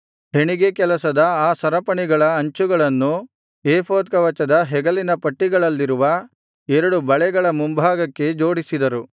ಹೆಣಿಗೇಕೆಲಸದ ಆ ಸರಪಣಿಗಳ ಅಂಚುಗಳನ್ನು ಏಫೋದ್ ಕವಚದ ಹೆಗಲಿನ ಪಟ್ಟಿಗಳಲ್ಲಿರುವ ಎರಡು ಬಳೆಗಳ ಮುಂಭಾಗಕ್ಕೆ ಜೋಡಿಸಿದರು